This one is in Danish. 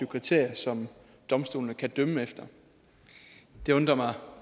kriterier som domstolene kan dømme efter det undrer mig